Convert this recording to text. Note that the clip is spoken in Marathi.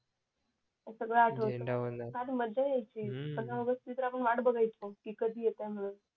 फार मज्जा यायची पंधरा ऑगस्ट ची तर आपण वाट बागायचो कधी येतंय म्हणून